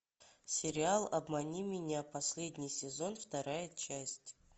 сериал обмани меня последний сезон вторая часть